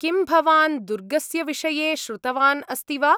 किं भवान् दुर्गस्य विषये श्रुतवान् अस्ति वा?